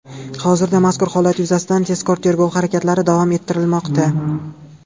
Hozirda mazkur holat yuzasidan tezkor-tergov harakatlari davom ettirilmoqda.